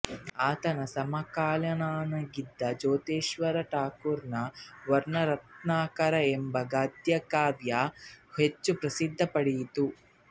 ಆತನ ಸಮಕಾಲೀನನಾಗಿದ್ದ ಜ್ಯೋತಿರೀಶ್ವರ ಠಾಕುರನ ವರ್ಣರತ್ನಾಕರ ಎಂಬ ಗದ್ಯಕಾವ್ಯ ಹೆಚ್ಚು ಪ್ರಸಿದ್ಧಿ ಪಡೆಯಿತು